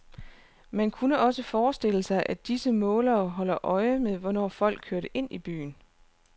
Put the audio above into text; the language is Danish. Man kunne også forestille sig at disse målere holdt øje med, hvornår folk kørte ind i byerne.